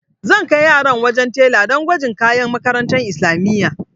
Zan kai yaran wajen tela do gwajin kayan makarantar islamiyya.